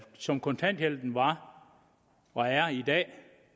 som kontanthjælpen var og er i dag